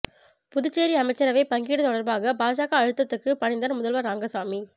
புதுச்சேரி அமைச்சரவை பங்கீடு தொடர்பாக பாஜக அழுத்தத்துக்கு பணிந்தார் முதல்வர் ரங்கசாமி